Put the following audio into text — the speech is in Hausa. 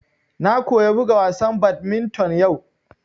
Na koya buga wasa badminton yau